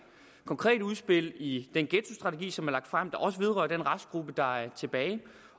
konkrete udspil i den ghettostrategi som er lagt frem der også vedrører den restgruppe der er tilbage